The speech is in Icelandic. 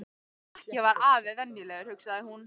Ekki var afi venjulegur, hugsaði hún.